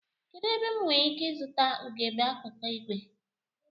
Kedụ ebe m nwereike ịzụta ugegbe akụkụ ìgwè?